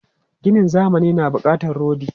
Ginin zamani na bukatar rodi.